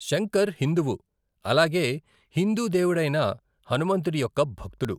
శంకర్ హిందువు, అలాగే హిందూ దేవుడైన హనుమంతుడి యొక్క భక్తుడు.